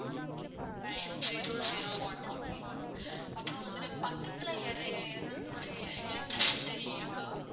nine zero zero one okay ma'am அப்றம் வந்துட்டு பக்கத்துல வேற எதாவது ஒரு electricit இருக்கா?